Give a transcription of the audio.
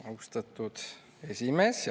Austatud esimees!